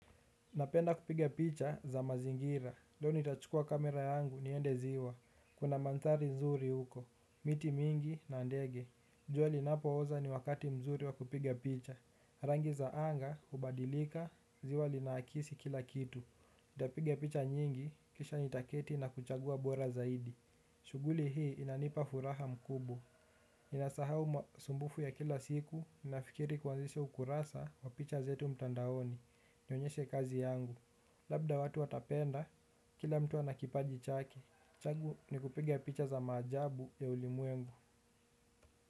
Napenda kupiga picha za mazingira, doo nitachukua kamera yangu niende ziwa. Kuna mandhari nzuri huko, miti mingi na ndege. Jua linapo oza ni wakati mzuri wa kupiga picha. Rangi za anga, hubadilika, ziwa linaakisi kila kitu. Ntapiga picha nyingi, kisha nitaketi na kuchagua bora zaidi. Shuguli hii inanipa furaha mkubo. Ninasahau masumbufu ya kila siku, nafikiri kuanzisha ukurasa wa picha zetu mtandaoni. Nionyeshe kazi yangu. Labda watu watapenda. Kila mtu anakipaji chake. Chagu ni kupiga picha za maajabu ya ulimwengu.